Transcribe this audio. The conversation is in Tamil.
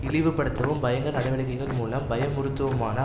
இழிவுபடுத்தவும் பயங்கர நடவடிக்கைகள் மூலம் பயமுறுத்தவுமான